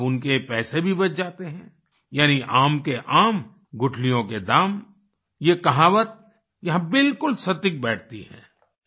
अब उनके ये पैसे भी बच जाते है यानि आम के आम गुठलियों के दाम ये कहावत यहाँ बिल्कुल सटीक बैठती है